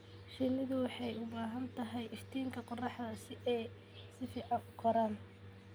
Shinnidu waxay u baahan tahay iftiinka qorraxda si ay si fiican u koraan.